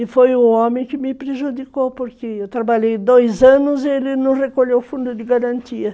E foi o homem que me prejudicou, porque eu trabalhei dois anos e ele não recolheu o fundo de garantia.